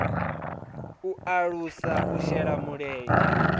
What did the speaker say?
u alusa u shela mulenzhe